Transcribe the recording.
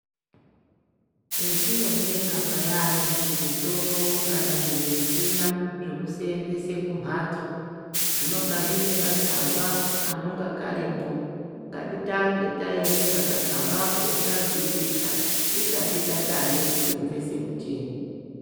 Petinotenga payani zvimitombo kana zvimichina zvekusenzese kumhatso. Zvinonga zviine katsamba kanonga karimwo ngatitange taerenga katsambako tazwisisa tisati tatange kusenzese mucheni.